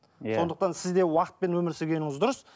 иә сондықтан сізде уақытпен өмір сүргеніңіз дұрыс